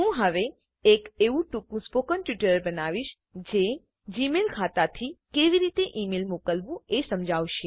હું હવે એક એવું ટૂંકું સ્પોકન ટ્યુટોરીયલ બનાવીશ જે જીમેઈલ ખાતાથી કેવી રીતે ઈમેઈલ મોકલવું એ સમજાવશે